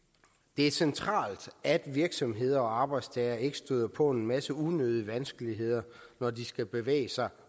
det er centralt at virksomheder og arbejdstagere ikke støder på en masse unødige vanskeligheder når de skal bevæge sig